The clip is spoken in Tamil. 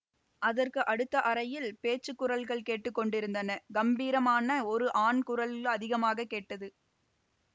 அதற்கு அடுத்த அறையில் பேச்சு குரல்கள் கேட்டு கொண்டிருந்தன கம்பீரமான ஒரு ஆண் குரல் அதிகமாக கேட்டது